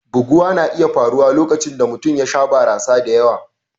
Buguwa na iya faruwa lokacin da mutum ya sha barasa da yawa.